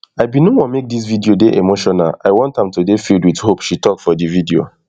i bin no want make dis video dey emotional i want am am to dey filled wit hope she tok for di video